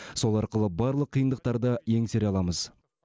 сол арқылы барлық қиындықтарды еңсере аламыз